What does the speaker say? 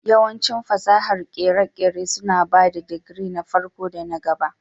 Yawancin fasahar kere-kere suna ba da digiri na farko da na gaba